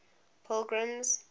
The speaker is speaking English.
pilgrim's